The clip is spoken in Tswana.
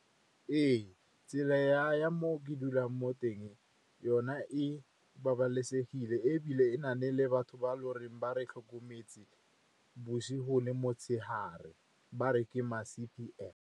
Ee, tsela ya mo ke dulang mo teng yona e babalesegile ebile e na le batho ba loreng ba re tlhokometse bosigo le motshegare, ba re ke ma C_P_F.